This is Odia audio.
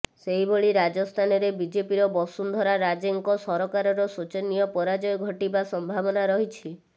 ସେହିଭଳି ରାଜସ୍ଥାନରେ ବିଜେପିର ବସୁନ୍ଧରା ରାଜେଙ୍କ ସରକାରର ଶୋଚନୀୟ ପରାଜୟ ଘଟିବା ସମ୍ଭାବନା ରହିଛି